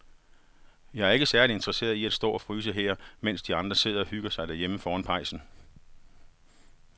Jeg er ikke særlig interesseret i at stå og fryse her, mens de andre sidder og hygger sig derhjemme foran pejsen.